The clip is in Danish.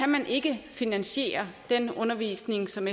man ikke finansiere den undervisning som